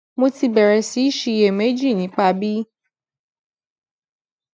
mo ti bèrè sí í ṣiyèméjì nípa bí